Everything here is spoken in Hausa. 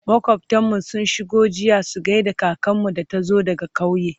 makwaftan mu sun shigo jiya su gaida kakanmu da ta zo daga ƙauye